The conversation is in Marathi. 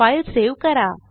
फाईल सेव्ह करा